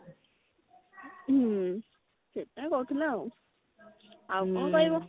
ହଁ ସେଇ କଥା କହୁଥିଲା ଆଉ ଆଉ କଣ କହିବ